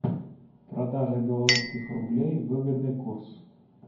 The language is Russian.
продажа белорусских рублей выгодный курс